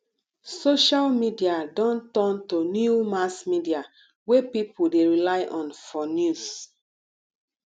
social media don turn to new mass media wey people dey rely on for news